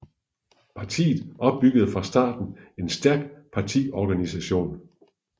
Partiet opbyggede fra starten en stærk partiorganisation